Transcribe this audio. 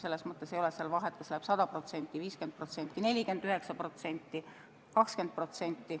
Selles mõttes ei ole vahet, kas läheb 100%, 50%, 49% või 20%.